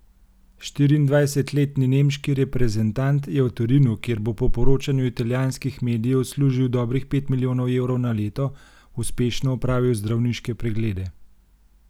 Štiriindvajsetletni nemški reprezentant je v Torinu, kjer bo po poročanju italijanskih medijev služil dobrih pet milijonov evrov na leto, uspešno opravil zdravniške preglede.